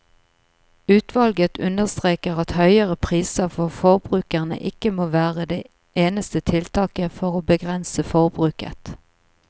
Utvalget understreker at høyere priser for forbrukerne ikke må være det eneste tiltaket for å begrense forbruket.